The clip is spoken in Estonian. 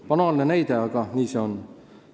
Banaalne näide, aga nii see on.